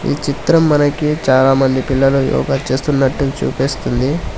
ఈ చిత్రం మనకి చాలామంది పిల్లలు యోగా చేస్తున్నట్టు చూపిస్తుంది.